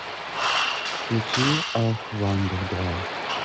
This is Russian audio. включи ох вандер драйв